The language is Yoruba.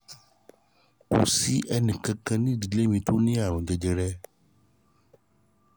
kò sí ẹnìkan kan nínú ìdílé mi tó ní àrùn jẹjẹrẹ